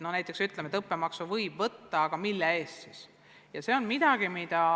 Näiteks ütleme, et õppemaksu võib võtta, aga mille eest ikkagi.